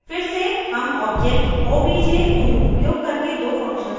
फिर से हम object obj2 उपयोग करके दो functions को कॉल करते हैं